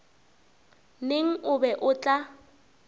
neng o be o tla